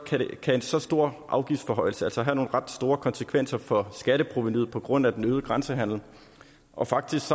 kan en så stor afgiftsforhøjelse altså have nogle ret store konsekvenser for skatteprovenuet på grund af den øgede grænsehandel og faktisk